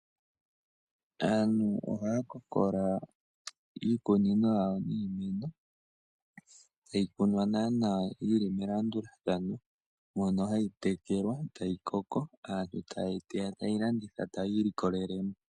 Aantu ohaya kokola iikunino yawo yiimeno tayi kunwa nee nawa yili melandulathano. Mono hayi tekelwa, tayi koko. Aantu ta yeyi teya ta yeyi landitha, taya ilikolele mo.